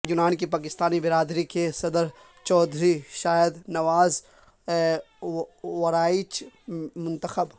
یونان کی پاکستانی برادری کے صدر چوہدری شاہد نواز وڑائچ منتخب